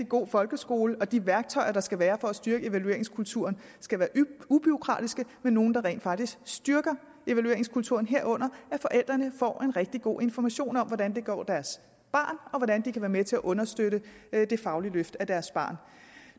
god folkeskole og de værktøjer der skal være for at styrke evalueringskulturen skal være ubureaukratiske men nogle der rent faktisk styrker evalueringskulturen herunder sørger at forældrene får en rigtig god information om hvordan det går deres barn og hvordan de kan være med til at understøtte det faglige løft af deres barn